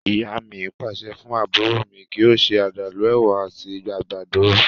Ìyá mi pàṣẹ fún àbúrò mi kí ó ṣe àdàlú, èwà àti àgbàdo